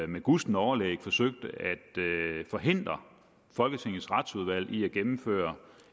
med gustent overlæg forsøgte at forhindre folketingets retsudvalg i at gennemføre